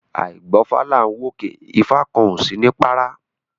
Áì gbọ́fá là ń wòkè ifá kan ò sini párá